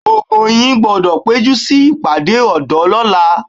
Gbogbo yín gbọ́dọ̀ péjú síbi ìpàdé ọ̀dọ́ lọ́la